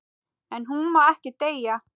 En hún má ekki deyja.